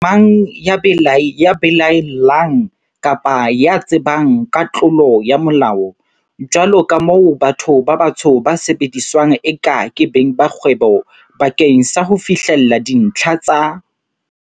Mang kapa mang ya belae llang kapa ya tsebang ka tlolo ya Molao, jwaloka moo batho ba batsho ba sebediswang eka ke beng ba kgwebo ba keng sa ho fihlella dintlha tsa.